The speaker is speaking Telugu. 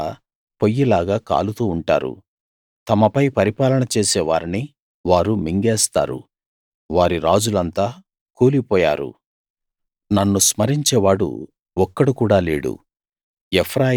వారంతా పొయ్యిలాగా కాలుతూ ఉంటారు తమపై పరిపాలన చేసే వారిని వారు మింగేస్తారు వారి రాజులంతా కూలిపోయారు నన్ను స్మరించే వాడు ఒక్కడు కూడా లేడు